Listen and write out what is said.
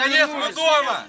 Nəhayət, biz evdəyik!